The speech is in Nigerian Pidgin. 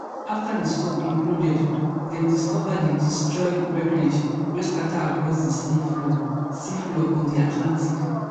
afta di sub imploded dem discover di destroyed wreckage wey scata across di sea floor sea floor of di atlantic